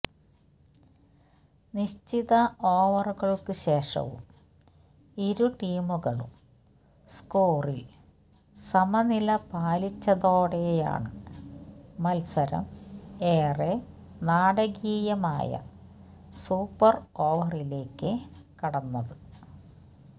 നിശ്ചിത ഓവറുകൾക്കുശേഷവും ഇരു ടീമുകളും സ്കോറിൽ സമനില പാലിച്ചതോടെയാണ് മത്സരം ഏറെ നാടകീയമായ സൂപ്പർ ഓവറിലേക്ക് കടന്നത്